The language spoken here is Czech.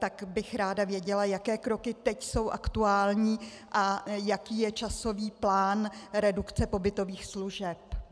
Tak bych ráda věděla, jaké kroky teď jsou aktuální a jaký je časový plán redukce pobytových služeb.